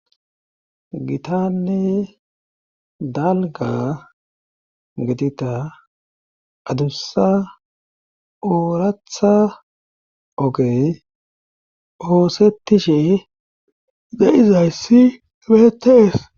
Gitanne dalga getita adussa ooratha ogey oosettishe de'izayssi beetees